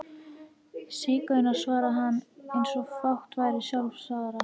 Sígaunar, svaraði hann einsog fátt væri sjálfsagðara.